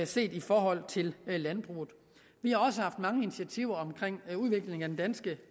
set i forhold til landbruget vi har også haft mange initiativer omkring udviklingen af den danske